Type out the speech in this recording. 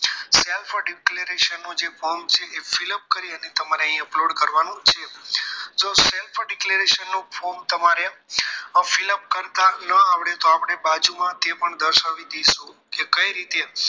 Self for declaration નું જે form છે એ fill up કરી અને તમારે અહીં upload કરવાનું છે self declaration form તમારે fill up કરતા ન આવડે તો આપણ બાજુમાં તે પણ દર્શાવી દીધું છે કે કઈ રીતે